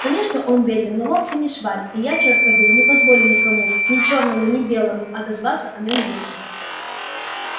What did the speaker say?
конечно он беден но вовсе не шваль и я чёрт побери не позволю никому ни чёрному ни белому отозваться о нём дурно